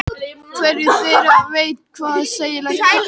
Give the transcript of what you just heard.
Hvorugt þeirra veit hvað segja skal.